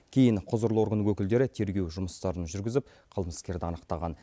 кейін құзырлы орган өкілдері тергеу жұмыстарын жүргізіп қылмыскерді анықтаған